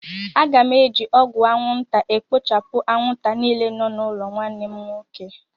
Aga m eji ọgwụ anwụnta ekpochapụ anwụnta niile nọ n'ụlọ nwanne m nwoke.